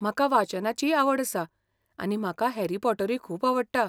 म्हाका वाचनाचीय आवड आसा आनी म्हाका हॅरी पॉटरूय खूब आवडटा.